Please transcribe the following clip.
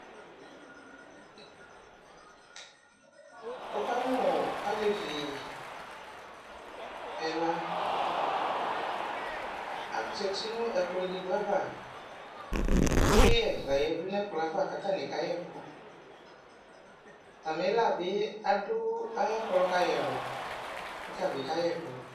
Wʋ kaamʋ alevi ɛla azati nʋ ɛkplɔ edigbo ava Ɛkʋyɛ layǝdʋ nʋ ɛkplɔ yɛ ava k'stanɩ kayɛkʋ Atamɩ la bɩ, adʋ ay'ɛkplɔ kayi ɛlʋ k'ɔta bɩ kayɛkʋ